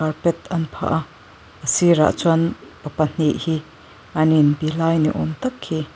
carpet an phah a a sirah chuan pa pahnih hi an in be lai niawm tak hi --